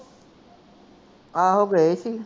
ਆਹੋ ਗਏ ਸੀ